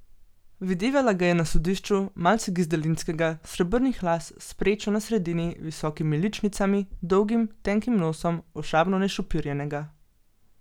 Videvala ga je na sodišču, malce gizdalinskega, srebrnih las, s prečo na sredini, visokimi ličnicami, dolgim, tenkim nosom, ošabno našopirjenega.